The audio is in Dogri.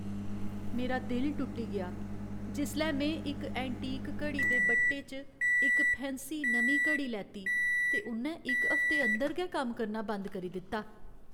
मेरा दिल टुट्टी गेआ जिसलै में इक एंटीक घड़ी दे बट्टे च इक फैंसी नमीं घड़ी लैती ते उ'न्नै इक हफ्ते अंदर गै कम्म करना बंद करी दित्ता।